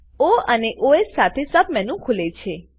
ઓ અને ઓએસ સાથે સબમેનુ ખુલે છે